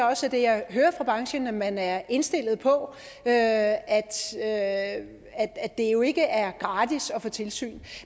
også er det jeg hører fra branchen at man er indstillet på at at det jo ikke er gratis at få tilsyn